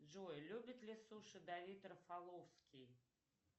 джой любит ли суши давид рафаловский